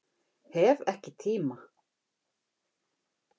Hef ekki tíma